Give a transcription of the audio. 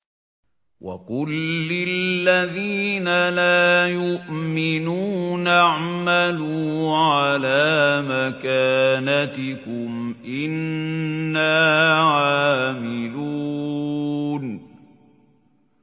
وَقُل لِّلَّذِينَ لَا يُؤْمِنُونَ اعْمَلُوا عَلَىٰ مَكَانَتِكُمْ إِنَّا عَامِلُونَ